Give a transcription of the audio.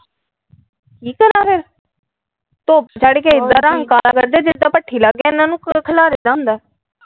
ਧੁੱਪ ਚ ਚੜ੍ਹ ਕ ਇੱਦਾ ਰੰਗ ਕਾਲਾ ਕਰਦੇ ਜਿੱਦਾ ਭੱਠੀ ਲਾਗੇ ਇਹਨਾਂ ਨੂੰ ਖਲਾਰੀ ਦਾ ਹੁੰਦਾ ਆ।